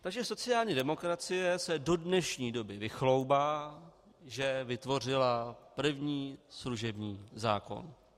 Takže sociální demokracie se do dnešní doby vychloubá, že vytvořila první služební zákon.